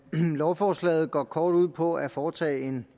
lovforslaget går kort sagt ud på at foretage en